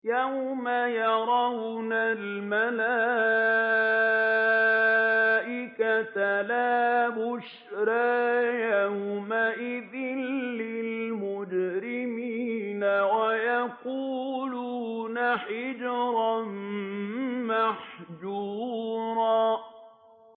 يَوْمَ يَرَوْنَ الْمَلَائِكَةَ لَا بُشْرَىٰ يَوْمَئِذٍ لِّلْمُجْرِمِينَ وَيَقُولُونَ حِجْرًا مَّحْجُورًا